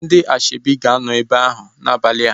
Ndị asoebi ga-anọ ebe ahu n'abalia